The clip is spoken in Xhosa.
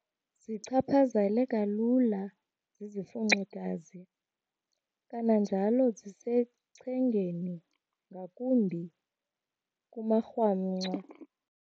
Zichaphazeleka lula zizifunxigazi. Kananjalo zisechengeni ngakumbi kumarhamncwa.